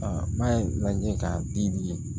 n'a ye lajɛ k'a di